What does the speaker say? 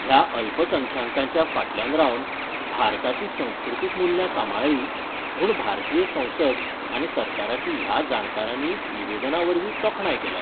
ह्या अल्पसंख्यांकाच्या फाटल्यान रावन भारताची संस्कृतीक मुल्यां सांबाळली म्हुण भारतीय संसद आनी सरकाराची ह्या जाणकारानी निवेदनावरवी तोखणाय केल्या.